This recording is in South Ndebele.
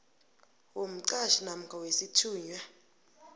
womqhatjhi namkha wesithunywa